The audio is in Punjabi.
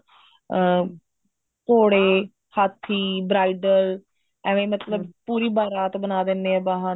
ਅਹ ਘੋੜੇ ਹਾਥੀ bridal ਐਵੇਂ ਮਤਲਬ ਪੂਰੀ ਬਾਰਾਤ ਬਣਾ ਦਿੰਦੇ ਨੇ ਬਾਹਾਂ ਤੇ